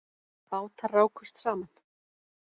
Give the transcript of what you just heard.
Bátar rákust saman